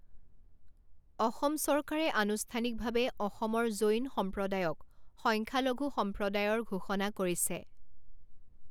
অসম চৰকাৰে আনুষ্ঠানিকভাৱে অসমৰ জৈন সম্প্ৰদায়ক সংখ্যালঘু সম্প্ৰদায়ৰ ঘোষণা কৰিছে।